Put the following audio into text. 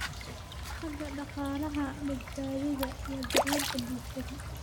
xagga dhaqaalaha, badbaadada, iyo daryeelka bulshada.